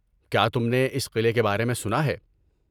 کیا تم نے اس قلعے کے بارے میں سنا ہے؟